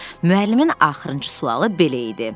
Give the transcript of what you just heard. Müəllimin axırıncı sualı belə idi: